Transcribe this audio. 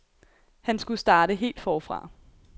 Han skulle starte helt forfra.